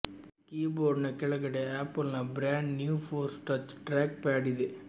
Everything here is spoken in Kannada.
ಕೀಬೋರ್ಡ್ನ ಕೆಳಗಡೆ ಆಪಲ್ನ brand new force touch track pad ಇದೆ